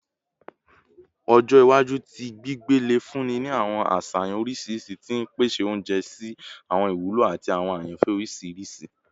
Ọjọ iwaju ti gbigbe le funni ni awọn aṣayan oriṣiriṣi ti n pese ounjẹ si awọn iwulo ati awọn ayanfẹ oriṣiriṣi